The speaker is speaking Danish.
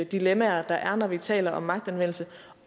dilemmaer der er når vi taler om magtanvendelse